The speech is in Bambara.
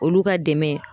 Olu ka dɛmɛ